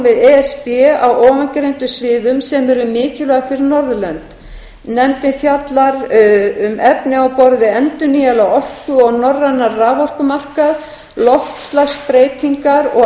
við e s b á ofangreindum sviðum sem eru mikilvæg fyrir norðurlönd nefndin fjallar um efni á borð við endurnýjanlega orku og norrænan raforkumarkað loftslagsbreytingar og